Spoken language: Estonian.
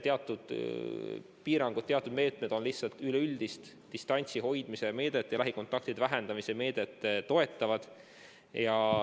Teatud piirangud, teatud meetmed on lihtsalt üleüldist distantsi hoidmise meedet ja lähikontaktide vähendamise meedet toetavad.